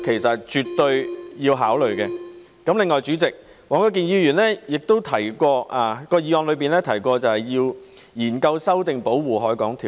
此外，代理主席，黃國健議員的議案又提到要研究修訂《保護海港條例》。